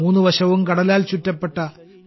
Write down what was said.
മൂന്ന് വശവും കടലാൽ ചുറ്റപ്പെട്ട